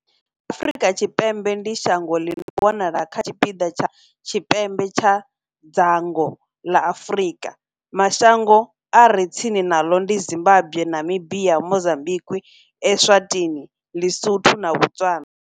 Afrika Tshipembe ndi shango ḽi no wanala kha tshipiḓa tsha tshipembe tsha dzhango ḽa Afurika. Mashango a re tsini naḽo ndi Zimbagwe, Namibia, Mozambikwi, Eswatini, Lisotho na Botswana.